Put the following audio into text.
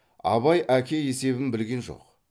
абай әке есебін білген жоқ